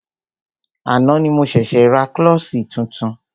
Àná ni mo ṣẹ̀ṣė ra klọ́ṣí tuntun.